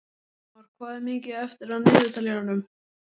En nú ert þú hjá mér.